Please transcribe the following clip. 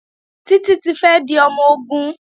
Títí fẹ́ di ọmọ-ogun